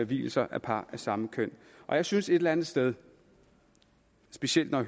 vielser af par af samme køn og jeg synes et eller andet sted specielt når